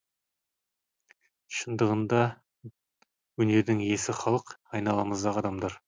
шындығында өнердің иесі халық айналамыздағы адамдар